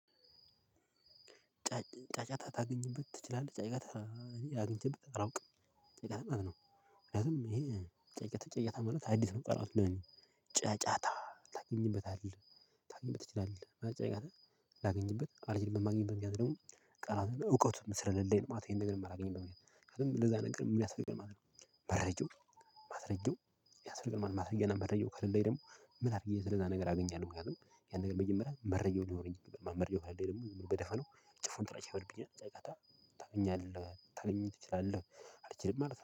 ጫጫታ ታገኝበት ትችላለህ ጫጫታ እኔ አግኝቼበት አላውቅም ምክንያቱም ማለት ነው። ምክንያቱም ይሄ ጫጫታ ጫጫታ ማለት አዲስ ነው ቃላቱ ለኔ ጫጫታ ታገኝበታለህ ልታገኝበት ትችላለህ። ምን ጫጫታ? ላገኝበት አልችልም የማላገኝበት ደግሞ ቃላት እውቀቱም ስለሌለኝ ማለት ነው። ይሄን ነገር የማላገኝበት ምክንያቱም ለዛ ነገር ምን ያስፈልጋል መረጃው ማስረጂው ነው የሚያስፈልግን ማለት ነው። ማስረጃና መረጃው ከሌለኝ ደግሞ ምን አዲስ የተለየ ነገር አገኛለሁ? ብለህ ነው። ያን ነገር መጀመሪያ መረጃው ሊኖረኝ ይገባል መረጃው ከሌለኝ ደግሞ በደፈናው ጭፉን ጥላቻ ይፈጥርብኛል። ጫጫታ ታገኛለህ ልታገኝት ትችላለህ? አልችልም ማለት ነው